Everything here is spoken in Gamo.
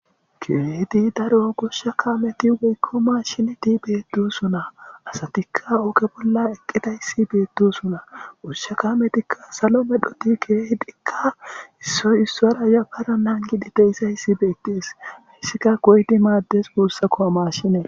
Kehidi daro gushsha kaameti woykko maashineti beedusuna asatikka oge bolla eqqeta yssi beettusuna gushsha kaametikka salo medhoti geehdikka issoy issora yappara nangidi deyssa issi beetties hissika goydi maaddes guussakkoa maashine.